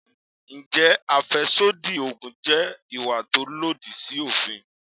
Ǹjẹ́ àfẹ́sódì Ògùn jẹ́ ìwà tó lòdì sí òfin?